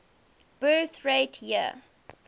birth rate year